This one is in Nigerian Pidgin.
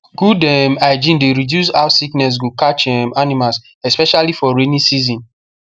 good um hygiene dey reduce how sickness go catch um animals especially for rainy season